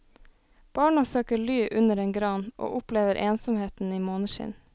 Barna søker ly under en gran, og opplever ensomheten i måneskinn.